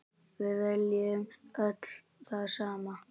Við viljum öll það sama.